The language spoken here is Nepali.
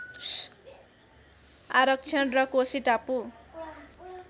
आरक्षण र कोशी टापु